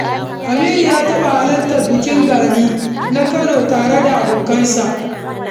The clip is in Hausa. Aminu ya taɓa halartar bikin Gani na Kano tare da abokansa.